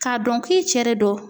K'a dɔn k'i cɛ de don